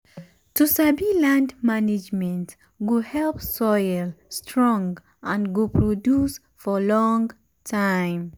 to sabi land management go help soil strong and go produce for long time